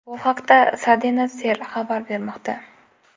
Bu haqda Cadena Ser xabar bermoqda .